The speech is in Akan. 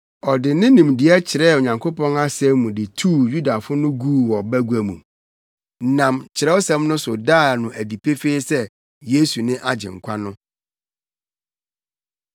Ɔde ne nimdeɛ kyerɛɛ Onyankopɔn asɛm mu de tuu Yudafo no guu wɔ bagua mu, nam Kyerɛwsɛm no so daa no adi pefee sɛ Yesu ne Agyenkwa no.